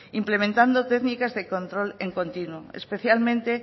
implementando técnicas de control en continuo especialmente